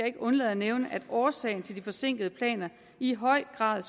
ikke undlade at nævne at årsagen til de forsinkede planer i høj grad